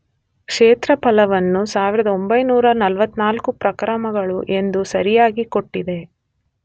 ಕ್ಷೇತ್ರಫಲವನ್ನು 1944 ಪ್ರಕ್ರಮಗಳು ಎಂದು ಸರಿಯಾಗಿ ಕೊಟ್ಟಿದೆ.